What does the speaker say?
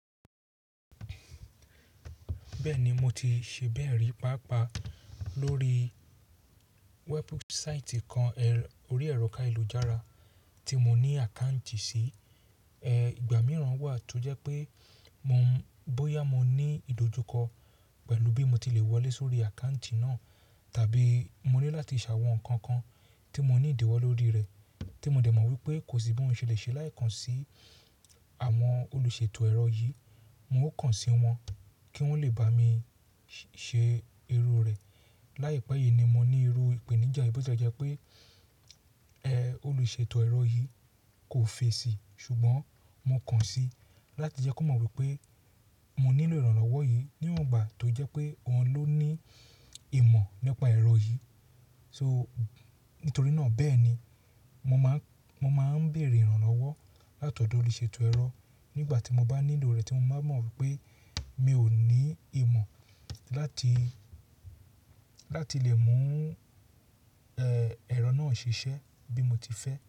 Bẹ́ẹ̀ni mo ti ṣe bẹ́ẹ̀ rí pàápàá lórí wẹẹpu saịtì kan orí ẹ̀rọ ká ìlú-jàara tí mo ní àkáǹtì si. Ẹ̀ ìgbà mìíràn wà tó jẹ́ pé mo ń bóyá mo ní ìdojúkọ pẹ̀lú bí mo ti le wọlé sórí àkáǹtì náà tàbí mo ní láti ṣàwọn ǹkan kan tí mo ní ìdíwọ́ lórí rẹ̀ tí mo dẹ̀ mọ̀ wípé kò sí bí mòún ṣe lè ṣe láì kàn sí àwọn olùṣètò ẹ̀rọ yìí. Mo ó kàn sí wọn kí wọ́n lè bá mi ṣe irú rẹ̀. Láìpẹ́ yìí ni mo ní irú ìpèníjà bí ó jẹ́ pé ẹ̀ olùṣètò ẹ̀rọ yìí kò fèsì ṣùgbọ́n mo kàn sí i láti jẹ́ kó mọ̀ wípé mo nílò ìrànlọ́wọ́ yìí níwọ̀n ìgbà tó jẹ́ pé wọn ló ní ìmọ̀ nípa ẹ̀rọ yìí. So nítorí náà bẹ́ẹ̀ni mo máa ń, mo máa ń bèèrè ìrànlọ́wọ́ látọ̀dọ̀ olùṣètò ẹ̀rọ nígbà tí mo bá nílò rẹ̀ tí mo bá mọ̀ wípé mi ò ní ìmọ̀ láti, láti lè mú ẹ̀ ẹ̀rọ náà ṣiṣẹ́ bí mo ti fẹ́